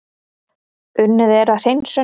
Unnið er að hreinsun